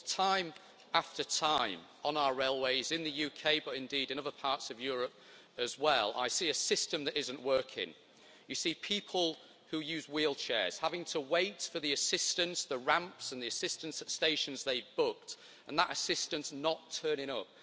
Because time after time on our railways in the UK but indeed in other parts of Europe as well, I see a system that isn't working. You see people who use wheelchairs having to wait for assistance with ramps and assistance at stations they booked and that assistance not turning up.